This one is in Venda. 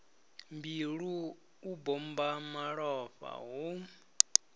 mbilu u bommba malofha hu